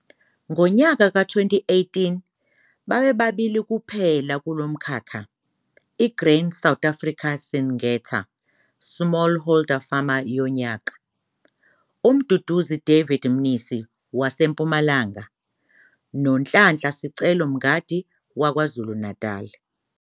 Ngonyaka ka-2018 babe babili kuphela kulo mkhakha, i-Grain SA - Syngenta Smallholder Farmer yoNyaka - uMduduzi David Mnisi waseMpumalanga noNhlanhla Sicelo Mgandi kwaZulu-Natal.